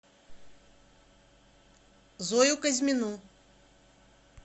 зою казьмину